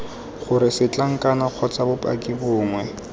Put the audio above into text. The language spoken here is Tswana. gore setlankana kgotsa bopaki bongwe